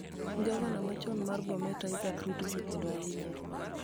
Gavana machon mar Bomet, Isaac Ruto, osekedo ahinya